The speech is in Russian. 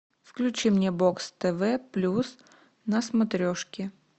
включи мне бокс тв плюс на смотрешке